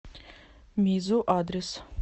мизу адрес